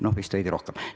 No vist veidi rohkem.